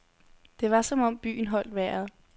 Det var som om byen holdt vejret.